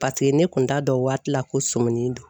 Paseke ne kun t'a dɔn waati la ko sɔmin don.